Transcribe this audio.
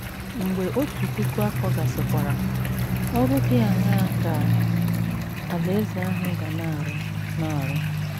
Mgbe otu puku afọ ahụ gasịkwara, ọrụ dị aṅaa ka Alaeze ahụ ga na - arụ na - arụ?